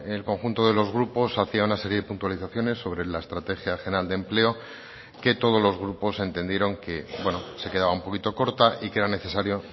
el conjunto de los grupos hacia una serie de puntualizaciones sobre la estrategia general de empleo que todos los grupos entendieron que se quedaba un poquito corta y que era necesario